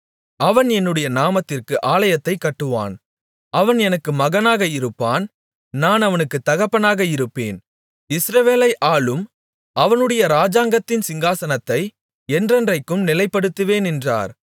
அவன் என்னுடைய நாமத்திற்கு ஆலயத்தைக் கட்டுவான் அவன் எனக்கு மகனாக இருப்பான் நான் அவனுக்கு தகப்பனாக இருப்பேன் இஸ்ரவேலை ஆளும் அவனுடைய ராஜாங்கத்தின் சிங்காசனத்தை என்றென்றைக்கும் நிலைப்படுத்துவேன் என்றார்